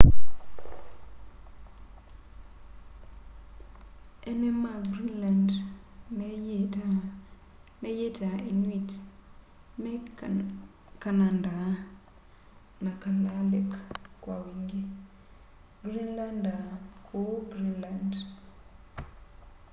eene ma greenland meyîtaa inuit me kananda na kalaalleq kwa wingî greenlander kûu greenland